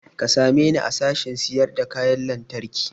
Ka same ni a sashen sayar da kayan lantarki